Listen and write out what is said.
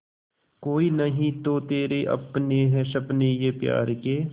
कोई नहीं तो तेरे अपने हैं सपने ये प्यार के